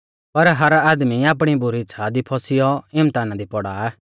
पर हर आदमी आपणी बुरी इच़्छ़ा दी फौसीयौ इम्तहाना दी पौड़ा